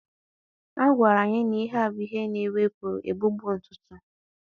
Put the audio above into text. A gwara anyị na ihe a bụ ihe na-ewepụ egbugbu ntutu